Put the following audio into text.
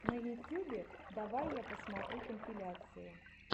на ютюбе давай я посмотрю компиляции